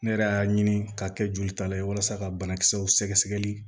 Ne yɛrɛ y'a ɲini k'a kɛ jolitala ye walasa ka banakisɛw sɛgɛsɛgɛli